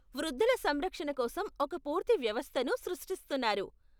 వృద్ధుల సంరక్షణ కోసం ఒక పూర్తి వ్యవస్థను సృష్టిస్తున్నారు.